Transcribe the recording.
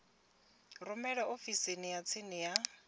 rumele ofisini ya tsini ya